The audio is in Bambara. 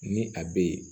Ni a be yen